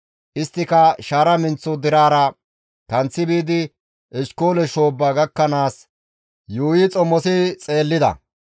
Isttika shaara menththo deraara kanththi biidi Eshkoole shoobba gakkanaas yuuyi xomosi xeellida.